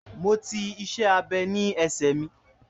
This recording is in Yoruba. Mo ti --iṣẹ́-abẹ́ ní ẹsẹ mi